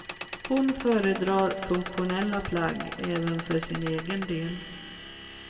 Hon föredrar funktionella plagg även för sin egen del.